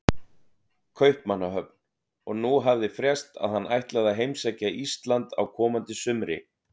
Kaupmannahöfn, og nú hafði frést að hann ætlaði að heimsækja Ísland á komandi sumri.